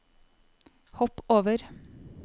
hopp over